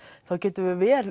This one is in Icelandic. þá gætum við vel